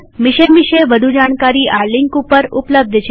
mission વિષે વધુ જાણકારી આ લિંક ઉપર ઉપલબ્ધ છે